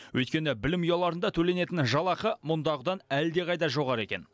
өйткені білім ұяларында төленетін жалақы мұндағыдан әлдеқайда жоғары екен